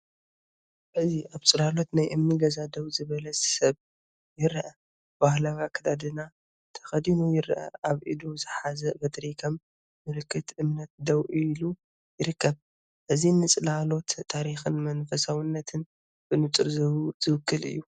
እዚ ኣብ ጽላሎት ናይ እምኒ ገዛ ደው ዝበለ ሰብ ይረአ፡ ባህላዊ ኣከዳድና ተኸዲኑ ይረአ፤ ኣብ ኢዱ ዝሓዘ በትሪ ከም ምልክት እምነት ደው ኢሉ ይርከብ። እዚ ንጽላሎት ታሪኽን መንፈሳውነትን ብንጹር ዝውክል እዩ።